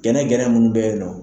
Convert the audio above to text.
Gɛnɛgɛnɛ mun be yen nɔ